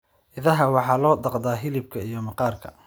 Idaha waxaa loo dhaqdaa hilibka iyo maqaarka.